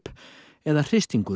eða hristingur